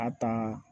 A ta